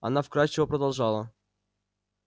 она вкрадчиво продолжала